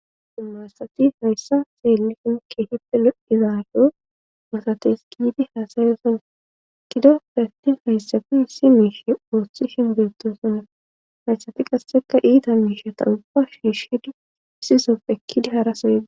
Dumma asati hayssa xeelli hinke hippe loddizaaso masates giyidi haasayoosona kido peftin hayssafi issi miishe wooththi shinbeetosona hayssafi qasseka iita miishe ta uba shiishshidi isisoppekkidi harasoya.